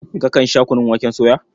Kakan sha kunun waken soya?